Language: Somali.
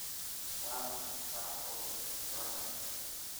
waa maxay faraqa u dhexeeya corona iyo hargabka?